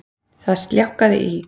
Það sljákkaði í